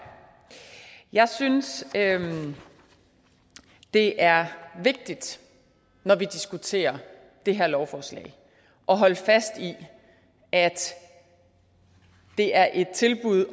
jeg synes det er vigtigt når vi diskuterer det her lovforslag at holde fast i at det er et tilbud